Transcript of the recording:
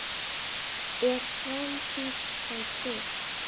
Er framtíð þá trygg?